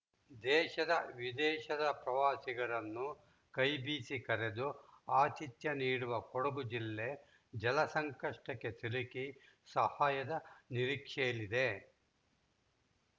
ದೇಶ ವಿದೇಶದ ಪ್ರವಾಸಿಗರನ್ನು ಕೈ ಬೀಸಿ ಕರೆದು ಆತಿಥ್ಯ ನೀಡುವ ಕೊಡಗು ಜಿಲ್ಲೆ ಜಲ ಸಂಕಷ್ಟಕ್ಕೆ ಸಿಲುಕಿ ಸಹಾಯದ ನಿರೀಕ್ಷೆಯಲ್ಲಿದೆ